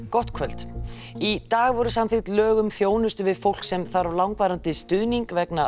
gott kvöld í dag voru samþykkt lög um þjónustu við fólk sem þarf langvarandi stuðning vegna